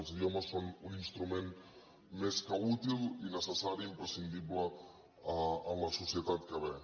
els idiomes són un instrument més que útil i necessari imprescindible en la societat que ve